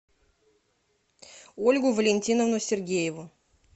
ольгу валентиновну сергееву